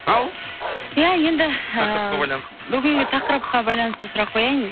ал ия енді ііі тақырыпқа байланысты бүгінгі тақырыпқа байланысты сұрақ қояйын